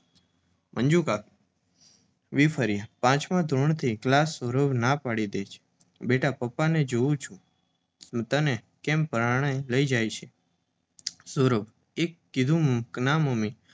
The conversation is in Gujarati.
મંજુકાકી વીફર્યા. પાંચમા ધોરણથી ક્લાસ? સૌરભ, ના પાડી દે બેટા પપ્પાને, જોઉં છું કેમ તને પરાણે લઈ જાય છે? સૌરભએ કીધું ના મમ્મી